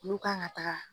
Olu kan ka taga